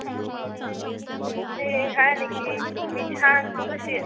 hey, hi Nikki. मी छान तु कशी आहेस?